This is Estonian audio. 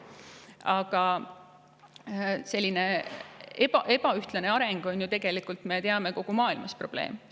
Aga me teame, et selline ebaühtlane areng on ju tegelikult kogu maailmas probleem.